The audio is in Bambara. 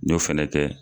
N y'o fɛnɛ kɛ